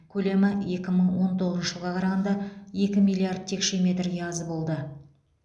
көлемі екі мың он тоғызыншы жылға қарағанда екі миллиард текше метрге аз болды